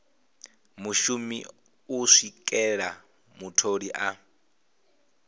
mushumi u swikela mutholi a